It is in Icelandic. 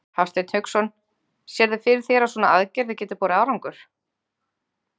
Hafsteinn Hauksson: Sérðu fyrir þér að svona aðgerðir geti borið árangur?